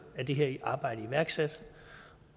er det her arbejde iværksat